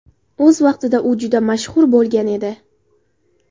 O‘z vaqtida u juda mashhur bo‘lgan edi.